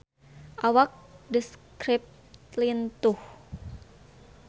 Awak The Script lintuh